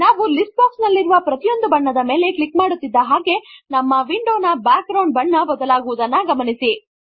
ನಾವು list box ನಲ್ಲಿರುವ ಪ್ರತಿಯೊಂದು ಬಣ್ಣದ ಮೇಲೆ ಕ್ಲಿಕ್ ಮಾಡುತ್ತಿದ್ದ ಹಾಗೆ ನಮ್ಮ ವಿಂಡೋ ನ ಬ್ಯಾಕ್ ಗ್ರೌಂಡ್ ಬಣ್ಣ ಬದಲಾಗುವುದನ್ನು ಗಮನಿಸಿ